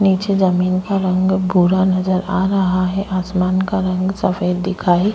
नीचे जमीन का रंग बूरा नजर आ रहा है आसमान का रंग सफेद दिखाई --